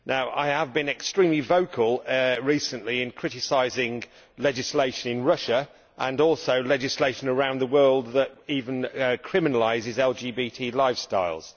I have been extremely vocal recently in criticising legislation in Russia, and also legislation around the world that even criminalises LGBT lifestyles.